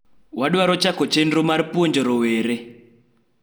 wadwaro chako chenro mar puonjo rowere